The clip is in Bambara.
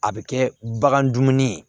A bɛ kɛ bagan dumuni ye